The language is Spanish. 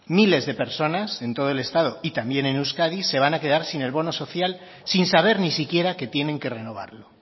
miles de personas en todo el estado y también en euskadi se van a quedar sin el bono social sin saber ni siquiera que tienen que renovarlo